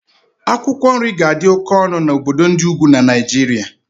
Akwụkwọ nri ga-adị oke ọnụ na obodo ndị ugwu na Naijiria